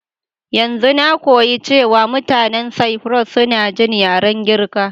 Yanzun na koyi cewa mutanin Cyprus suna jin yaren Girka.